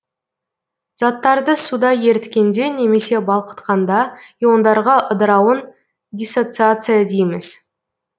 заттарды суда еріткенде немесе балқытканда иондарға ыдырауын диссоциация дейміз